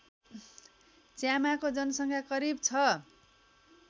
च्यामाको जनसङ्ख्या करिब छ